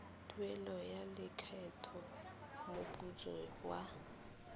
tuelo ya lekgetho moputso wa